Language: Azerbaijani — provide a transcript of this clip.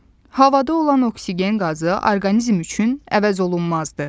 Havada olan oksigen qazı orqanizm üçün əvəzolunmazdır.